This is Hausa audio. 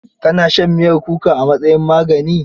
Ka na shan miyar kuka a matsayin magani?